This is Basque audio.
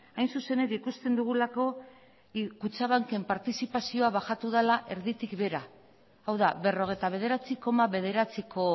hain zuzen ere ikusten dugulako kutxabanken partizipazioa bajatu dela erditik behera hau da berrogeita bederatzi koma bederatziko